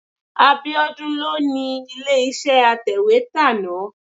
Abíọ́dún ló ni ilé-iṣẹ́ atẹ̀wétà náà.